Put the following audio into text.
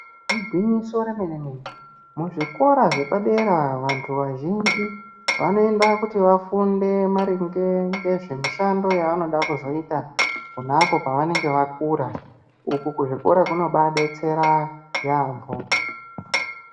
Igwinyiso remene mene muzvikora zvapadera vantu vazhinji vanoendako kuti vafunde maringe ngezvemushando yavanoda kuzoita ponapo pavanenge vakura uku kuzvikora kunobadetsera yaampo.